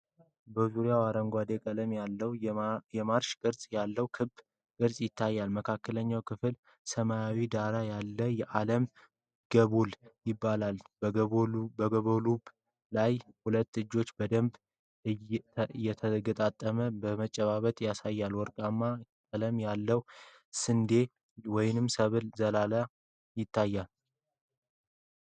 በዙሪያው አረንጓዴ ቀለም ያለውና የማርሽ ቅርጽ ያለው ክብ ቅርጽ ይታያል። መካከለኛው ክፍል: ሰማያዊ ዳራ ያለው የዓለም ግሎብ ይገኛል። በግሎቡ ላይ ሁለት እጆች በደንብ የተገጣጠመ መጨባበጥ ያሳያሉ። ወርቃማ ቀለም ያለው የስንዴ ወይም የሰብል ዘለላ ይታያል።